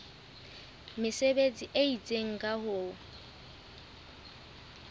mesebetsi e itseng ka ho